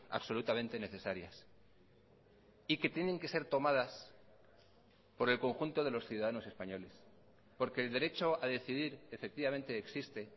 absolutamente necesarias y que tienen que ser tomadas por el conjunto de los ciudadanos españoles porque el derecho a decidir efectivamente existe